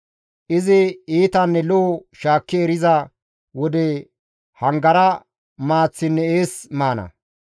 Izi iitanne lo7o shaakki eriza wode hangara maaththinne ees maana.